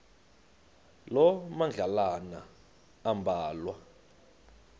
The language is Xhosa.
loo madlalana ambalwa